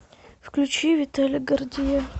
включи виталия гордея